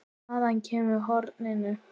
Hvaðan kemur horinn?